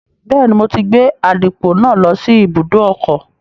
Bẹ́ẹ̀ni, mo ti gbé àdìpọ̀ náà lọ sí ibùdó ọkọ̀